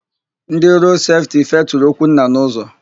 Ndị Rood Sefti feturu Okwunna n'ụzọ.